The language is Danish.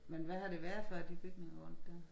Men hvad har det været før de bygninger rundt dér